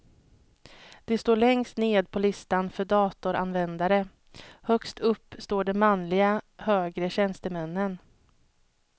De står längst ned på listan för datoranvändare, högst upp står de manliga högre tjänstemännen.